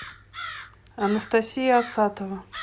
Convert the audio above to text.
анастасия асатова